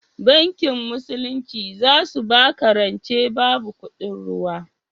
Bankin musulunci zasu baka rance babu kuɗin ruwa